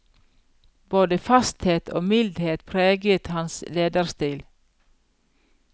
Både fasthet og mildhet preget hans lederstil.